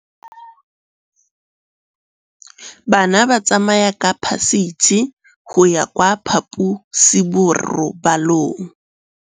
Bana ba tsamaya ka phašitshe go ya kwa phaposiborobalong.